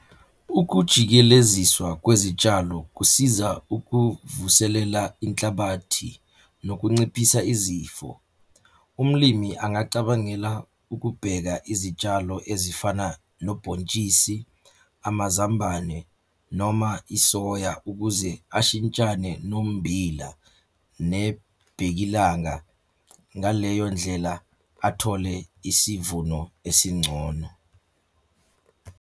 Ukujikeleziswa kwezitshalo kusiza ukuvuselela inhlabathi nokunciphisa izifo. Umlimi angacabangela ukubheka izitshalo ezifana nobhontshisi, amazambane, noma isoya ukuze ashintshane nommbila, nebhenkilanga. Ngaleyo ndlela athole isivuno esingcono.